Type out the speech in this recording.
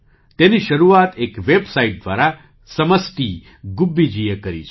તેની શરૂઆત એક વેબસાઇટ દ્વારા સમષ્ટિ ગુબ્બીજીએ કરી છે